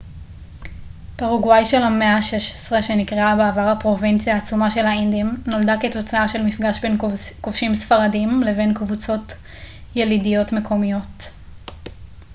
פרגוואי של המאה ה-16 שנקראה בעבר הפרובינציה העצומה של האינדים נולדה כתוצאה של מפגש בין כובשים ספרדיים לבין קבוצות ילידיות מקומיות